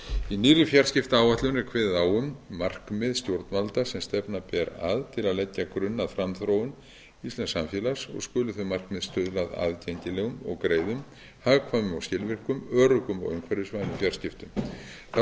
í nýrri fjarskiptaáætlun er kveðið á um markmið stjórnvalda sem stefna ber að til að leggja grunn að framþróun íslensks samfélags og skulu þau markmið stuðla að aðgengilegum og greiðum hagkvæmum og skilvirkum öruggum og umhverfisvænum fjarskiptum þá